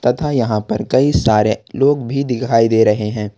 तथा यहां पर कई सारे लोग भी दिखाई दे रहे हैं।